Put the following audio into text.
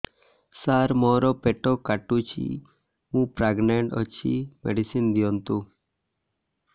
ସାର ମୋର ପେଟ କାଟୁଚି ମୁ ପ୍ରେଗନାଂଟ ଅଛି ମେଡିସିନ ଦିଅନ୍ତୁ